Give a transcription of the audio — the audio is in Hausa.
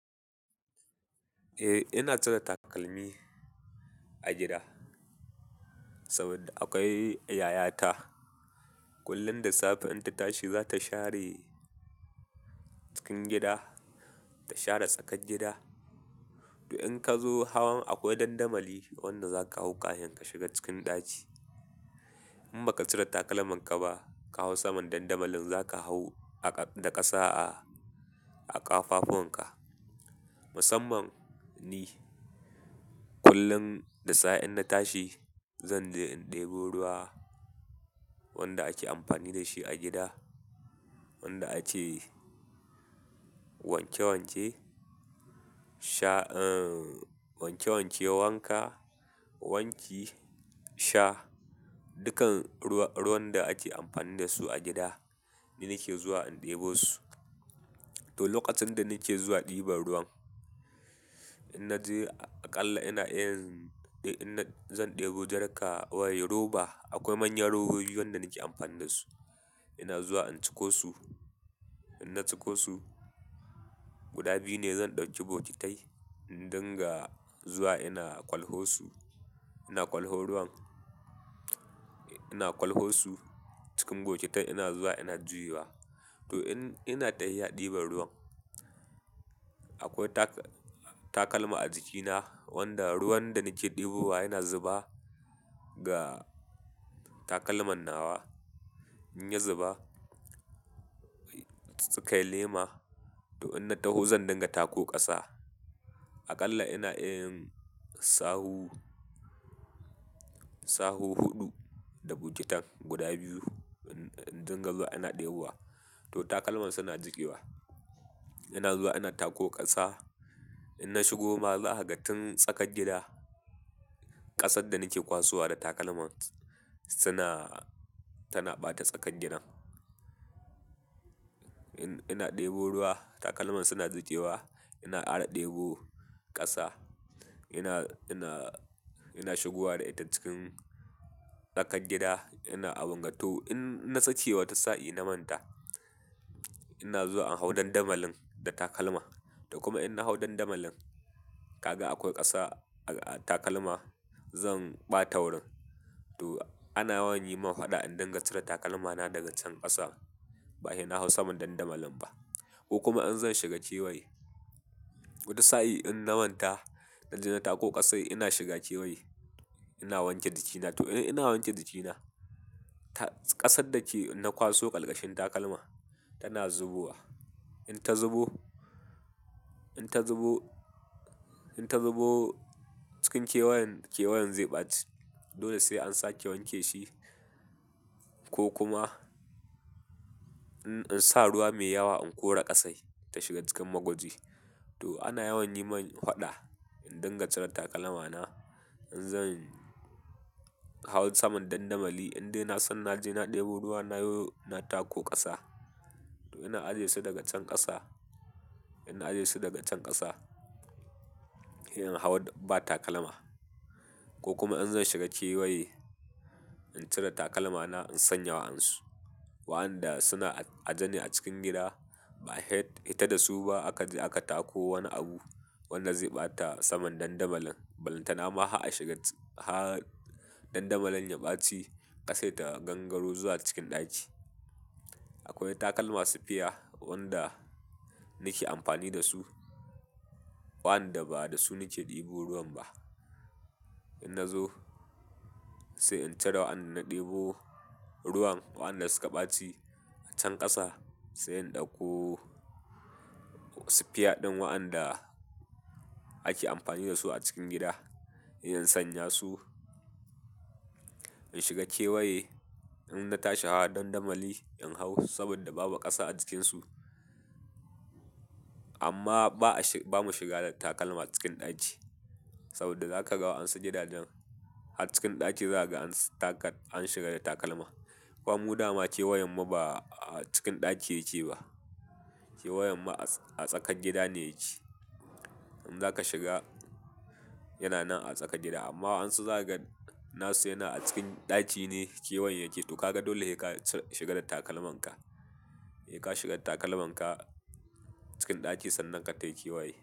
Eh ina cire takalmi a gida, saboda akwai yayata, kullum da safe in ta tashi, za ta share cikin gida, ta share tsakar gida. To in ka zo hawan akwai dandamali wanda za ka hau ka hin ka shiga cikin ɗaki. In ba ka cire takalman ka ba, ka hau saman dandamalin za ka hau da ƙasa a ƙafafuwan ka. Musamman ni kullum da safe in na tashi, zanje in ɗebo ruwa wanda ake amfani da shi a gida, wanda ake wanke wanke, sha, wanke wanke, wanka, wanki, sha dukkan ruwan da ake amfani da su a gida ni nake zuwa in ɗebo su. To lokacin da nake zuwa ɗiban ruwan, in na je aƙalla ina iya, in na, zan ɗebo jarka wai roba. Akwai manyan robobi wanda nake amfani da su. Ina zuwa in ciko su, in na ciko su, guda biyu ne zan ɗauki bokitai in dinga zuwa ina ƙwalho su, ina ƙwalho ruwan, ina ƙwalho su cikin bokitai ina zuwa ina juyawa. To ina tafiyi ɗiban ruwan, akwai takalma a jikina wanda ruwan da nake ɗebo wa yana zuba ga takalman nawa. In ya zuba, kai lema to in na taho zan dinga tako ƙasa. Aƙalla ina iya yin sahu, sahu huɗu da bokitan guda biyu in dinga zuwa ina ɗebo wa, to takalman suna jikewa. Ina zuwa ina tako ƙasa. In na shigo ma zaka ga tun tsakar gida, ƙasar da nake kwasuwa da takalman tana ɓata tsakar gidan. Ina ɗebo ruwa takalman suna jikewa ina kara ɗebo ƙasa ina, ina shigowa da ita cikin tsakar gida ina abunga, to. In na saki wata sahi na manta ina zuwa in hau dandamalin da takalma, to kuma in na hau dandamalin kaga akwai ƙasa a takalma zan ɓata wurin. To ana yawan yi min faɗa in dinga cire takalmana daga can ƙasa, ba sai na hau saman dandamalin ba. Ko kuma in zan shiga kewaye, wata sahi in na manta na je na tako ƙasai ina shiga kewaye ina wanke jikina. To ina wanke jikina, ƙasar da ke inna kwaso ƙarƙashin takalma tana zubowa. In ta zubo, in ta zubo, in ta zubo cikin kewayan, kewayan zai ɓaci. Dole sai an sake wanke shi ko kuma in sa ruwa mai yawa in kora ƙasai ta shiga cikin magwaji. To ana yawan yi min faɗa in dinga cire takalmana in zan hau saman dandamali in dai na san na je na ɗebo ruwa na yo na tako ƙasa. To ina ajiye su daga can ƙasa, ina ajiye su daga can ƙasa in hau ba takalma. Ko kuma in zan shiga kewaye in cire takalmana in sanya wa'en su. Wa'anda suna aje ni a cikin gida ba hita da su ba aka tako wani abu wanda zai ɓata saman dandamalin. Balanta na ma dandamalin ya ɓaci ƙasai ta gangaro zuwa cikin ɗaki. Akwai takalma sufiya, wanda nake amfani da su, wa'anda ba da su nake ɗebo ruwan ba. In na zo sai in cire wa in na ɗebo ruwan wa'anda suka ɓaci a can ƙasa sai in ɗauko sufiya ɗin wa'anda ake amfani da su a cikin gida, in sanya su. In shiga kewaye in na tashi hawa dandamali in hau saboda babu ƙasa a jikin su. Amma ba'a ba mu shiga da takalma cikin ɗaki, saboda za ka ga wa'an su gidajen har cikin ɗaki zagai an shiga da takalma. Kwan mu da ma kewayan ma ba a cikin ɗaki yake ba. Kewayan ma a tsakar gida ne yake. In za ka shiga yana nan a tsakar gida amma an su zaga nasu yana a cikin ɗaki ne kewayan yake to kaga dole yai ka shiga da takalman ka. Sai ka shiga da takalman ka, cikin ɗaki sannan ka tafi kewaye.